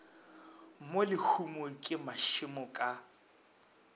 mo lehumong ke mašemo ka